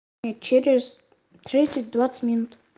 через тридцать двадцать минут